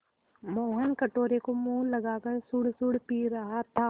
मोहन कटोरे को मुँह लगाकर सुड़सुड़ पी रहा था